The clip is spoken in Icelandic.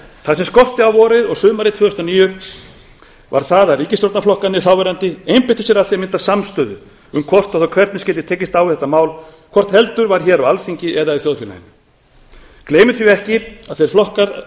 það sem skorti á vorið og sumarið tvö þúsund og níu var það að ríkisstjórnarflokkarnir þáverandi einbeittu sér að því að mynda samstöðu um hvort og þá hvernig skyldi tekist á við þetta mál hvort heldur var á alþingi eða í þjóðfélaginu gleymum því ekki að